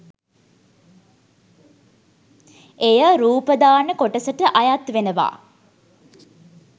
එය රූපදාන කොටසට අයත් වෙනවා.